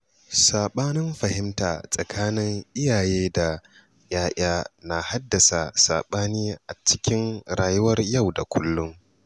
Saɓanin fahimta tsakanin iyaye da 'ya'ya na haddasa saɓani a cikin rayuwar yau da kullum.